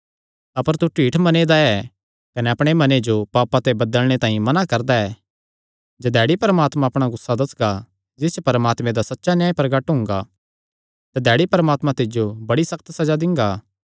अपर तू ढीठ मने दा ऐ कने अपणे मने जो पापां ते बदलणे तांई मना करदा ऐ जधैड़ी परमात्मा अपणा गुस्सा दस्सगा जिस च परमात्मे दा सच्चा न्याय प्रगट हुंगा तधैड़ी परमात्मा तिज्जो बड़ी सक्त सज़ा दिंगा